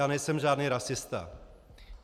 Já nejsem žádný rasista!